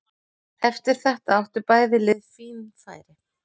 Eftir þetta áttu bæði lið fín færi.